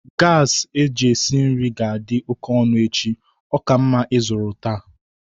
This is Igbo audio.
gasi eji esi nri ga-adị oke ọnụ echi, ọ ka mma ịzụrụ taa